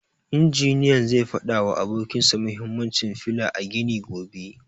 Injiniyan zai fada wa abokin sa mahimmancin fila a gini gobe.